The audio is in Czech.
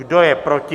Kdo je proti?